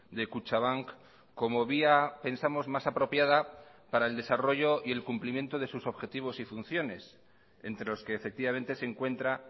de kutxabank como vía pensamos más apropiada para el desarrollo y el cumplimiento de sus objetivos y funciones entre los que efectivamente se encuentra